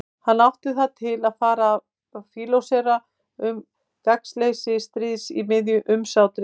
Hann átti það til að fara að fílósófera um gagnsleysi stríðs í miðju umsátri.